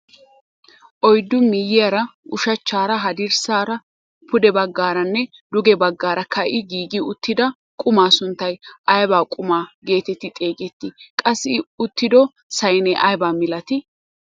Oyddu miyiyaara ushachchara, hadirssaara, pude baggaaranne duge baggaara ka'i giigi uttida qumaa sunttay ayba qumaa getettii xeegettii? qassi i uttido saynee aybaa milatii?